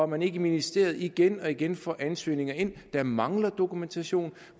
man i ministeriet ikke igen og igen får ansøgninger ind der mangler dokumentation